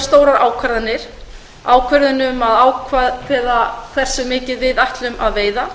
stórar ákvarðanir bíða ákvörðun um að ákveða hversu mikið við ætlum að veiða